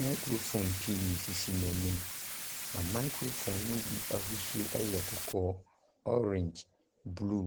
Microphone pii sisi n'anim. Na microphone no bi ahosuo yɛ kɔkɔɔ, orange blue.